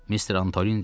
Mister Antolin dedi.